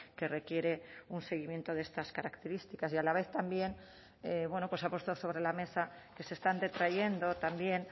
que requiere un seguimiento de estas características y a la vez también bueno pues ha puesto sobre la mesa que se están retrayendo también